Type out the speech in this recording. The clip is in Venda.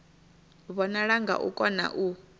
vhonala nga u kona u